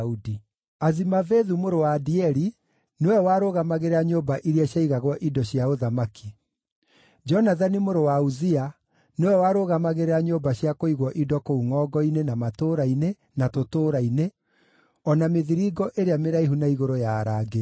Azimavethu mũrũ wa Adieli nĩwe warũgamagĩrĩra nyũmba iria ciaigagwo indo cia ũthamaki. Jonathani mũrũ wa Uzia nĩwe warũgamagĩrĩra nyũmba cia kũigwo indo kũu ngʼongo-inĩ, na matũũra-inĩ, na tũtũũra-inĩ, o na mĩthiringo ĩrĩa mĩraihu na igũrũ ya arangĩri.